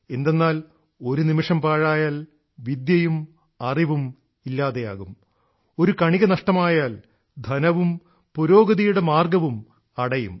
എന്തെന്നാൽ ഒരു നിമിഷം പാഴായാൽ വിദ്യയും അറിവും ഇല്ലാതാകും ഒരു കണിക നഷ്ടമായാൽ ധനവും പുരോഗതിയുടെ മാർഗ്ഗവും അടയും